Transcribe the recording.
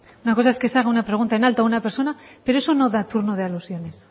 una cosa es que se haga una pregunta en alto a una persona pero eso no da turno de alusiones